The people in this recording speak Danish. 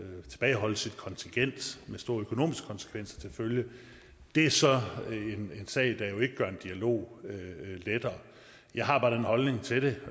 tilbageholde sit kontingent med store økonomiske konsekvenser til følge er så en sag der jo ikke gør en dialog lettere jeg har bare den holdning til det